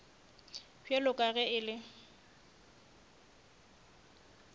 bjalo ka ge e le